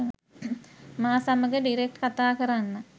මා සමඟ ඩිරෙක්ට් කතා කරන්න.